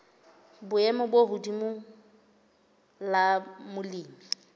boemo bo hodimo la molemi